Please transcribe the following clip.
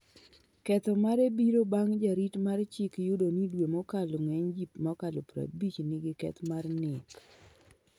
Ketho mare biro bang' jarit mar Chik yudo ni due mokalo ng'eny jii mokalo 50 nigi keth mar nek